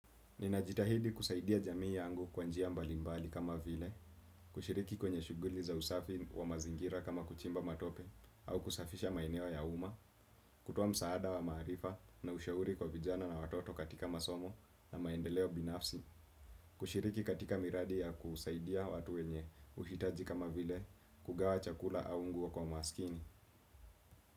Ninajitahidi kusaidia jamii yangu kwa njia mbalimbali kama vile, kushiriki kwenye shuguli za usafi wa mazingira kama kuchimba matope au kusafisha maeneo ya uma, kutoa msaada wa maarifa na ushauri kwa vijana na watoto katika masomo na maendeleo binafsi, kushiriki katika miradi ya kusaidia watu wenye uhitaji kama vile kugawa chakula au nguo kwa maskini.